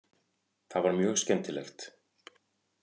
Það var mjög skemmtilegt.